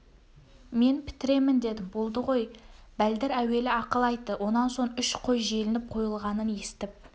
мен бітіремін дедім болды ғой бәлдір әуелі ақыл айтты онан соң үш қой желініп қойылғанын естіп